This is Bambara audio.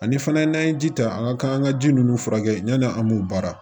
Ani fana n'an ye ji ta an ka kan ka ji ninnu furakɛ yanni an b'o baara